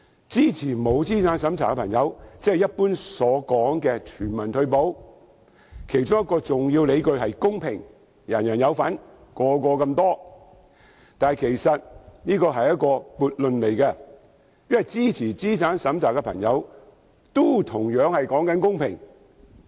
支持不設資產審查的朋友，即是一般說的全民退休保障，其中一個重要理據是公平，人人有份，每人所獲的金額相同，但其實這是一個悖論，因為支持資產審查的朋友，也同樣講求公平。